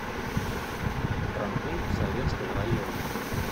травмпункт советского района